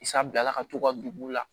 San bilala ka t'u ka dugu la